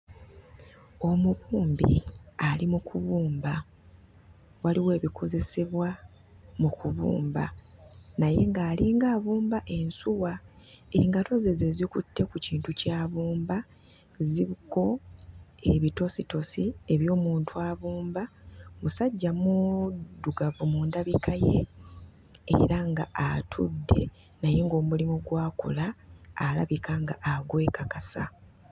Omubumbi ali mu kubumba, waliwo ebikozesebwa mu kubumba naye ng'alinga abumba ensuwa. Engalo ze ze zikutte ku kintu ky'abumba, ziriko ebitositosi eby'omuntu abumba; musajja muddugavu mu ndabika ye era ng'atudde, naye ng'omulimu gw'akola alabika ng'agwekakasa.